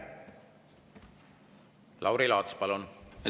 Lauri Laats, palun!